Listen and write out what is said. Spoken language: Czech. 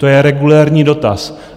To je regulérní dotaz.